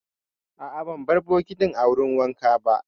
A'a, ban bar bokitin a wurin wanka ba.